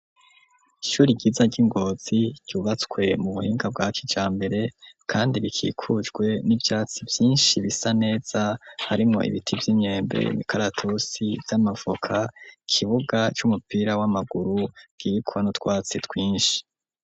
Ishure ryiza ry'ingozi ryubatswe mu buhinga bwa kicambere kandi rikikujwe n'ivyatsi vyinshi bisa neza harimwo ibiti vy'imyembe ,imikaratusi vy'amavoka, ikibuga c'umupira w'amaguru kiriko nu twatsi twinshi.